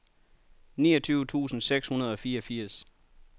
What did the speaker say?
niogtyve tusind seks hundrede og fireogfirs